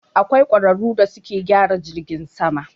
Akwai ƙwararu da suke gyara jirgin sama.